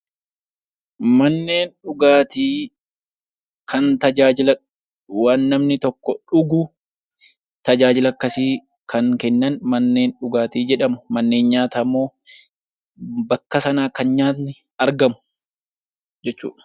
Manneen dhugaatii kan tajaajila waan namni tokko dhugu tajaajila akkasii kan kennan manneen dhugaatii jedhamu. Manneen nyaataa immoo bakka sanaa kan nyaanni argamu jechuudha.